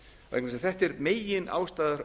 vegna þess að þetta er meginástæða